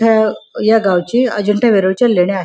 अ या गावची अजिंठा वेरूळच्या लेण्या आहे.